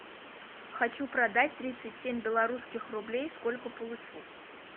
хочу продать тридцать семь белорусских рублей сколько получу